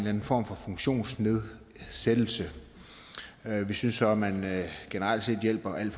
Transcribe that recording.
anden form for funktionsnedsættelse vi synes at man generelt set hjælper alt